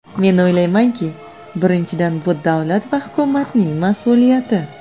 Men o‘ylaymanki, birinchidan, bu davlat va hukumatning mas’uliyati.